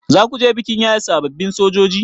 Zakuje bikin yaye sababbin sojoji?